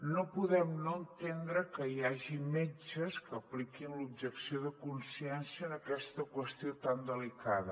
no podem no entendre que hi hagi metges que apliquin l’objecció de consciència en aquesta qües·tió tan delicada